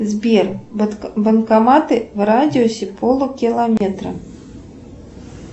сбер банкоматы в радиусе полукилометра